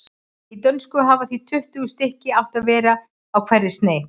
Í dönsku hafa því tuttugu stykki átt að vera á hverri sneis.